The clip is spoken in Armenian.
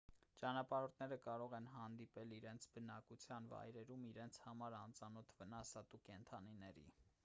ճանապարհորդները կարող են հանդիպել իրենց բնակության վայրերում իրենց համար անծանոթ վնասատու կենդանիների